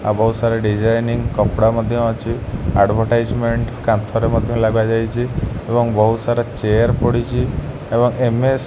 ବୋହୁତ ସାରା ଡିଜାଇନ୍ କପଡା ମଧ୍ୟ ଅଛି। ଆଡଭଟାଇଜମେଣ୍ଟ କାନ୍ଥରେ ମଧ୍ଯ ଲଗାଯାଇଚି ଏବଂ ବୋହୁତ ସାରା ଚେୟାର୍ ପଡ଼ିଚି ଏବଂ ଏମ_ଏସ --